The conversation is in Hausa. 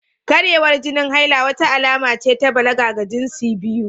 Karyewar jinin haila, wata alama ce ta balaga ga jinsi biyu